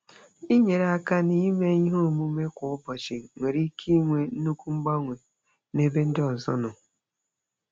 Inyere aka n'ime ihe omume kwa ụbọchị nwere ike inwe nnukwu mgbanwe n'ebe ndị ọzọ nọ.